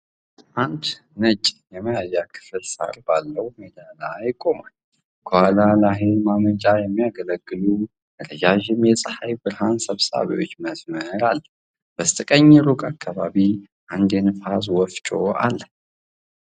አንድ ነጭ የመያዣ ክፍል ሣር ባለው ሜዳ ላይ ቆሟል። ከኋላ ለኃይል ማመንጫ የሚያገለግሉ ረዣዥም የፀሐይ ብርሃን ሰብሳቢዎች መስመር አለ። በስተቀኝ ሩቅ አካባቢ አንድ ነፋስ ወፍጮ አለ።